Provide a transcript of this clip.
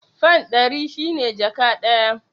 Fan ɗari shi ne jaka ɗaya.